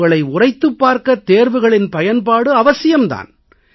உங்களை உரைத்துப் பார்க்க தேர்வுகளின் பயன்பாடு அவசியம் தான்